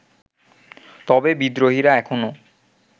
তবে বিদ্রোহীরা এখনো